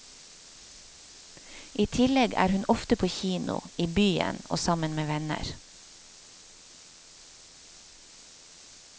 I tillegg er hun ofte på kino, i byen og sammen med venner.